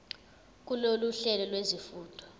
kulolu hlelo lwezifundo